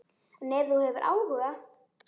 En ef þú hefur áhuga.